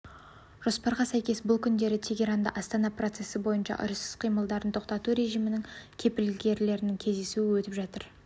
жоспарға сәйкес бұл күндері тегеранда астана процесі бойынша ұрыс іс-қимылдарын тоқтату режимінің кепілгерлерінің кездесуі өтіп жатыр